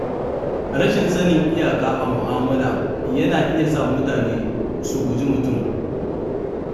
Rashin sanin iyaka a mu'amala yana iya sa mutane su guji mutum.